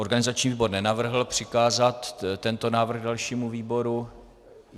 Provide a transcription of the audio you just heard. Organizační výbor nenavrhl přikázat tento návrh dalšímu výboru.